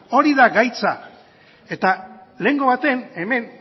hori da gaitza eta lehengo baten hemen